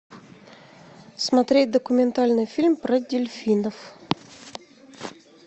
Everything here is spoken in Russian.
смотреть документальный фильм про дельфинов